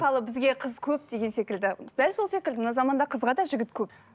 мысалы бізге қыз көп деген секілді дәл сол секілді мына заманда қызға да жігіт көп